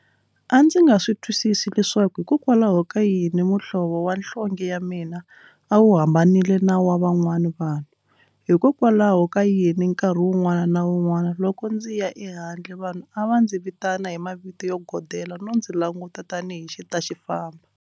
A ndzi nga swi twisisi leswaku hikokwalaho ka yini muhlovo wa nhlonge ya mina a wu hambanile na wa van'wana vanhu, hikokwalaho ka yini nkarhi wun'wa na na wun'wana loko ndzi ya ehandle vanhu a va ndzi vitana hi mavito yo godela no ndzi languta tanihi xitaxifamba.